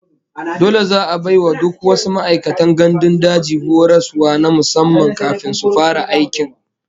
Dole za'a bai wa duk wasu ma'aikatan gandun daji horaswa na musamman kafin su fara aiki